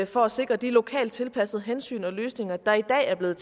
for at sikre de lokalt tilpassede hensyn og løsninger der i dag er blevet